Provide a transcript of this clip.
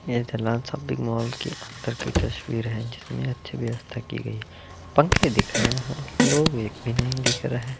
ये मॉल की अंदर की तस्वीर है जिसमें अच्छी व्यवस्था की गई है। पंखे दिख रहे हैं लोग एक भी नहीं दिख रहे हैं।